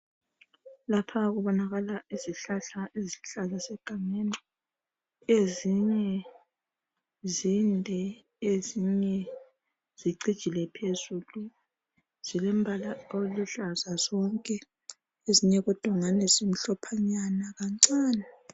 Lapha kubonakala izihlahla ezihlala zisegangeni. Ezinye zinde ezinye zicijile phezulu. Zilembala oluhlaza zonke ezinye kodwa ngani zimhlophanyana kancane.